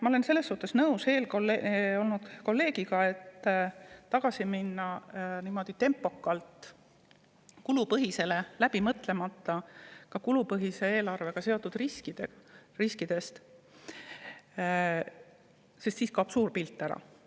Ma olen selles mõttes nõus eelkõnelenud kolleegiga, et niimoodi tempokalt tagasi minna kulupõhisele eelarvestamisele, seejuures läbi mõtlemata kulupõhise eelarvega seotud riske, sest siis kaob suur pilt ära.